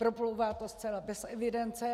Proplouvá to zcela bez evidence.